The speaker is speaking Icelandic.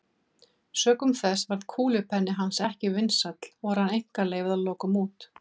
Sökum þess varð kúlupenni hans ekki vinsæll og rann einkaleyfið að lokum út.